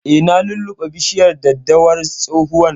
Eh, na lulluɓe bishiyar daddawar tsohuwan